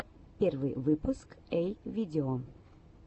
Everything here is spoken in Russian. первый выпуск эй видео